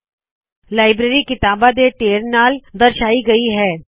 library library ਕਿਤਾਬਾ ਦੇ ਢੇਰ ਨਾਲ ਦਰਸ਼ਾਈ ਗਈ ਹੈ